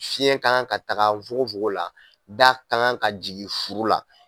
Fiɲɛ kan ka taga fugon fugon la, da ka kan ka jigin furu la.